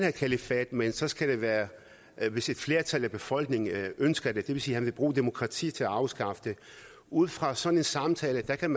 et kalifat men så skal det være hvis et flertal af befolkningen ønsker det det vil sige at han vil bruge demokratiet til at afskaffe det ud fra sådan en samtale kan